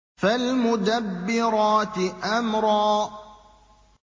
فَالْمُدَبِّرَاتِ أَمْرًا